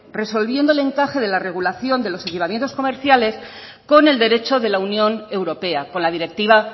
resolviendo el encaje de la regulación de los equipamientos comerciales con el derecho de la unión europea con la directiva